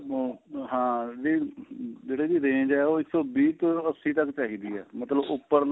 ਹਾਂ ਨਹੀਂ ਜਿਹੜੀ ਇਹਦੀ range ਏ ਉਹ ਇੱਕ ਸੋ ਵੀਹ ਤੋਂ ਅੱਸੀ ਤੱਕ ਚਾਹੀਦੀ ਏ ਮਤਲਬ ਉੱਪਰਲਾ